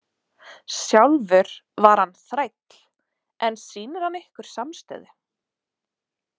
Sjálfur var hann þræll en sýnir hann ykkur samstöðu?